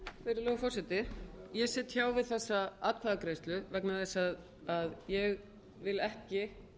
virðulegur forseti ég sit hjá við þessa atkvæðagreiðslu vegna þess að ég vil ekki